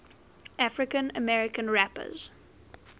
african american rappers